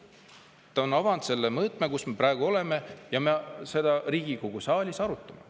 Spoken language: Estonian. Ta on avanud selle mõõtme, kus me praegu oleme, ja me seda Riigikogu saalis arutame.